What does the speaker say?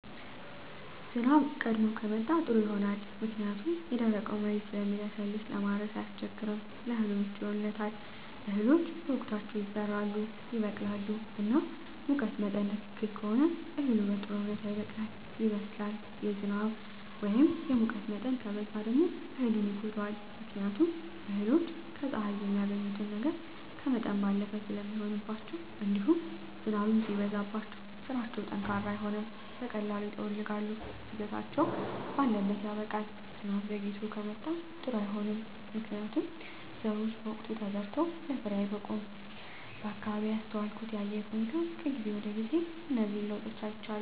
ዝናብ ቀድሞ ከመጣ ጥሩ ይሆናል ምክንያቱም የደረቀዉ መሬት ስለሚለሰልስ ለማረስ አያስቸግርም ለእህሉ ምቹ ይሆንለታል እህሎች በወቅታቸዉ ይዘራሉ ይበቅላሉ እና ሙቀት መጠን ትክክል ከሆነ እህሉ በጥሩ ሁኔታ ይበቅላል ይበስላል የዝናብ ወይም የሙቀት መጠን ከበዛ ደግሞ እህሉን ይጎዳዋል ምክንያቱም እህሎች ከፀሐይ የሚያገኙትን ነገር ከመጠን ባለፈ ስለሚሆንባቸዉእንዲሁም ዝናብም ሲበዛባቸዉ ስራቸዉ ጠንካራ አይሆንም በቀላሉ ይጠወልጋሉ እድገታቸዉ ባለት ያበቃል ዝናብ ዘይግቶ ከመጣም ጥሩ አይሆንም ምክንያቱም ዘሮች በወቅቱ ተዘርተዉ ለፍሬየአየር አይበቁም በአካባቢየ ያስተዋልኩት የአየር ሁኔታ ከጊዜ ወደጊዜ እነዚህን ለዉጦች አይቻለሁ